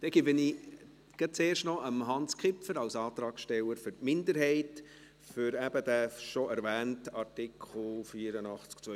Dann gebe ich zuerst gleich noch Hans Kipfer das Wort, als Antragsteller für die Minderheit, zum eben schon erwähnten Artikel 84 Absatz 2a (neu).